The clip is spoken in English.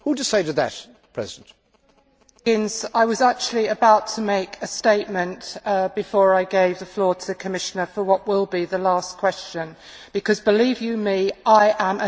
Mr Higgins, I was actually about to make a statement before I gave the floor to the Commissioner for what will be the last question because, believe you me, I am as angry as you.